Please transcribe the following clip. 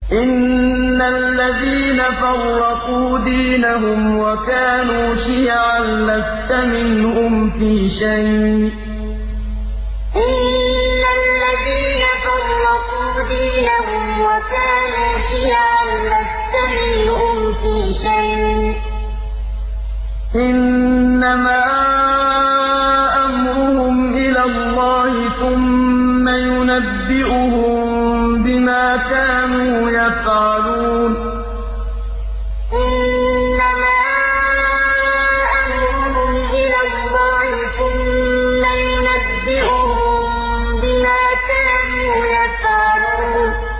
إِنَّ الَّذِينَ فَرَّقُوا دِينَهُمْ وَكَانُوا شِيَعًا لَّسْتَ مِنْهُمْ فِي شَيْءٍ ۚ إِنَّمَا أَمْرُهُمْ إِلَى اللَّهِ ثُمَّ يُنَبِّئُهُم بِمَا كَانُوا يَفْعَلُونَ إِنَّ الَّذِينَ فَرَّقُوا دِينَهُمْ وَكَانُوا شِيَعًا لَّسْتَ مِنْهُمْ فِي شَيْءٍ ۚ إِنَّمَا أَمْرُهُمْ إِلَى اللَّهِ ثُمَّ يُنَبِّئُهُم بِمَا كَانُوا يَفْعَلُونَ